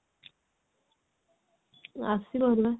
ଆସିବ ହେଲା